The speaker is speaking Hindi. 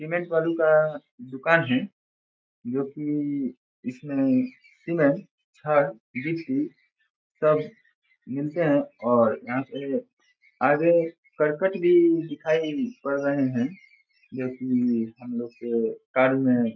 सीमेंट बालू का दुकान है जो की इसमें सीमेंट छड़ गिट्टी सब मिलते है और यहाँ पे आगे कर्कट भी दिखाई पड़ रहे है जो की हमलोग के कार्य मे --